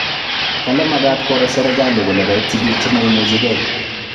Kale magat koro serkali kole kaityi biik chemaimuchigei